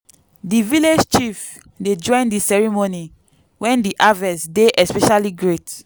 di village chief dey join di ceremony when di harvest dey especially great.